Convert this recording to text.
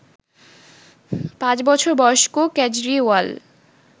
৫ বছর বয়স্ক কেজরিওয়াল